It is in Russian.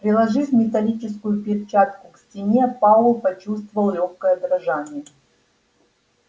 приложив металлическую перчатку к стене пауэлл почувствовал лёгкое дрожание